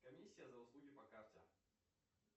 комиссия за услуги по карте